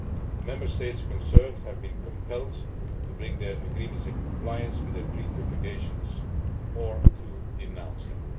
The Member States concerned have been compelled to bring their agreements into compliance with their Treaty obligations or to denounce them.